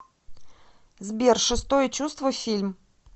сбер шестое чувство фильм